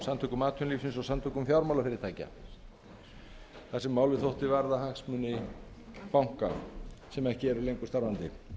samtökum atvinnulífsins og samtökum fjármálafyrirtækja þar sem málið þótti varða hagsmuni banka sem ekki eru lengur starfandi